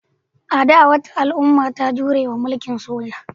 A da, wata al'umma ta jure wa mulkin soja.